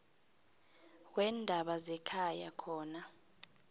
weendaba zekhaya khona